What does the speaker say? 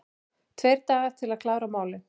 Tveir dagar til að klára málin